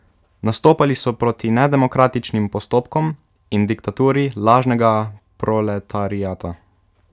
Nastopali so proti nedemokratičnim postopkom in diktaturi lažnega proletariata.